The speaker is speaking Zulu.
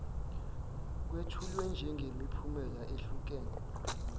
kwethulwe njengemiphumela ehlukene